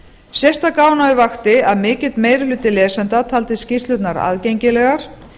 sérstaka ánægju vakti að mikill meiri hluti lesenda taldi skýrslurnar aðgengilegar